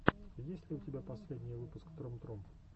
есть ли у тебя последний выпуск трум трум